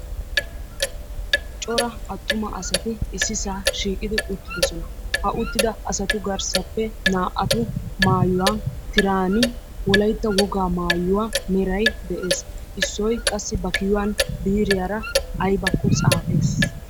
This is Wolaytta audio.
Cora attuma asati ississan shiiqidi uttidoosona; ha uttida asatu garssappe naa"atu maayuwaa tiran Wolaytta wogaa meray de'ees; issoy qassi ba kiyyuwan biiriyaara aybbakko xaafees